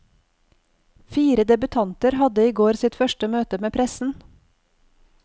Fire debutanter hadde i går sitt første møte med pressen.